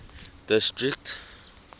district